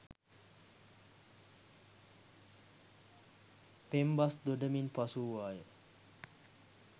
පෙම්බස් දොඩමින් පසු වූවාය